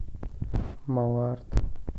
малард